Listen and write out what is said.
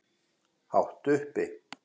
Hátt uppi.